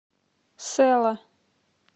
сэла